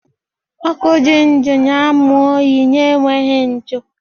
Ọkụ dị ndụ na-amụ oyi na-enweghị ntụ